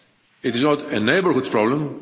It is not a neighbourhood problem.